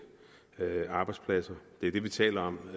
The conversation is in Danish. arbejdspladser det er det vi taler om